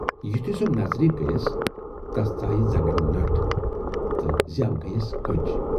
یُتھُے سۅ نظرِ گٔیَس تَس ژایہِ زنگن نَٹ تہٕ زٮ۪و گٔیَس کٔج۔